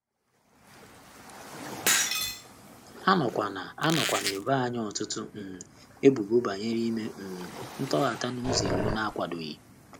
A nọkwa na - nọkwa na - ebo anyị ọtụtụ um ebubo banyere ime um ntọghata n’ụzọ iwu na - akwadoghị.